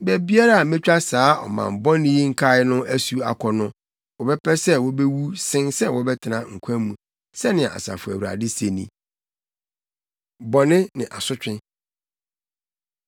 Baabiara a metwa saa ɔman bɔne yi nkae no asu akɔ no, wɔbɛpɛ sɛ wobewu sen sɛ wɔbɛtena nkwa mu, sɛnea Asafo Awurade se ni.’ Bɔne Ne Asotwe